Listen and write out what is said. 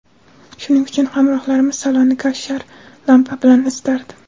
Shuning uchun hamrohlarimiz salonni kavshar lampa bilan isitardi.